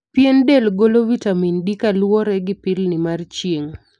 Pien del golo vitamin D kaluwore gi pilni mar chirng'.